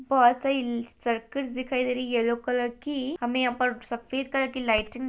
बहोत सारी इ सर्कस दिखाई दे रही है यैलो कलर की हमें यहाँ सफ़ेद कलर की लाइटिंग --